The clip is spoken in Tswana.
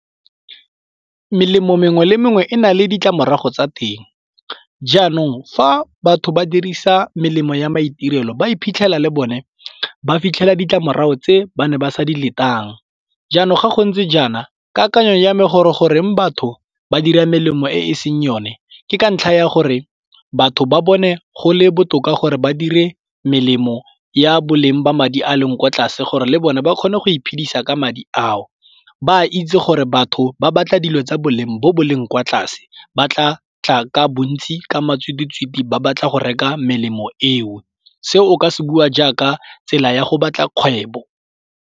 Melemo mengwe le mengwe e na le ditlamorago tsa teng. Jaanong fa batho ba dirisa melemo ya maitirelo ba iphitlhela le bone ba fitlhela ditlamorago tse ba ne ba sa di letang. Jaanong ga go ntse jaana kakanyo ya me gore goreng batho ba dira melemo e seng yone ke ka ntlha ya gore batho ba bone go le botoka gore ba dire melemo ya boleng ba madi a leng ko tlase gore le bone ba kgone go iphedisa ka madi ao ba itse gore batho ba batla dilo tsa boleng bo boleng kwa tlase ba tla tla ka bontsi ka matshwititshwiti ba batla go reka melemo eo, se o ka se bua jaaka tsela ya go batla kgwebo.